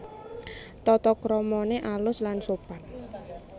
Tatakramané alus lan sopan